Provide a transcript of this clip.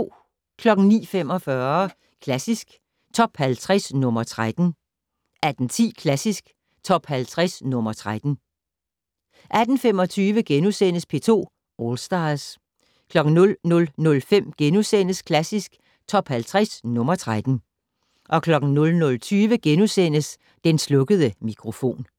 09:45: Klassisk Top 50 - nr. 13 18:10: Klassisk Top 50 - nr. 13 18:25: P2 All Stars * 00:05: Klassisk Top 50 - nr. 13 * 00:20: Den slukkede mikrofon *